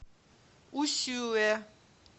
усюэ